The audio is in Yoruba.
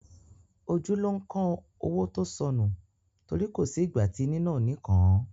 Ojú ló ń kán owó tó sọnù, tori ko si ìgbà ti níná ò ní kàn án